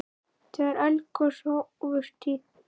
Þegar eldgos hófust í